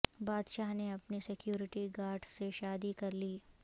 بادشاہ نے اپنی سکیورٹی گارڈ سے شادی کر لی